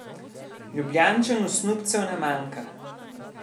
Ljubljančanu snubcev ne manjka.